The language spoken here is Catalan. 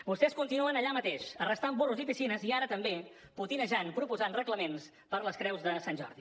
vostès continuen allà mateix arrestant burros i piscines i ara també potinejant proposant reglaments per a les creus de sant jordi